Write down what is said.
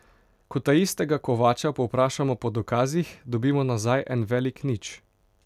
Ko taistega Kovača povprašamo po dokazih, dobimo nazaj en velik nič.